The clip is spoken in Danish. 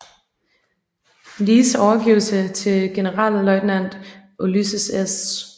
Lees overgivelse til Generalløjtnant Ulysses S